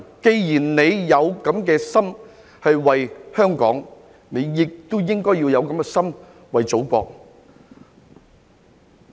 既然他們有這樣的心為香港，我希望他們也應該要有這樣的心為祖國。